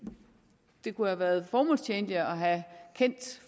det kunne have været formålstjenligt at have kendt